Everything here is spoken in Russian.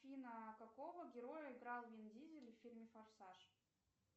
афина какого героя играл вин дизель в фильме форсаж